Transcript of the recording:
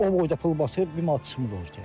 O boyda pul batır, bir manat çıxmır ortaya.